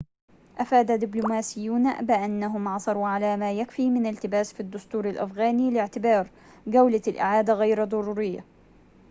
أفاد دبلوماسيون بأنهم عثروا على ما يكفي من التباس في الدستور الأفغاني لاعتبار جولة الإعادة غير ضرورية